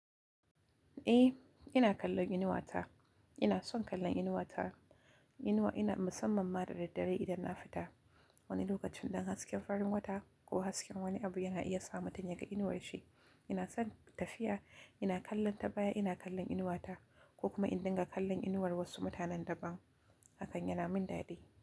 E, ina kallon inuwata. Ina son kallon inuwata, inuwa ina musamman ma da daddare idan na fita wani lokacin dan hasken farin wata ko hasken wani abu yan iya sa mutum ya ga inuwar shi. Ina son tafiya, ina kallon ta baya ina kallon inuwata ko kuma in dinga kallon inuwar wasu mutanen daban. Hakan yana min daɗi.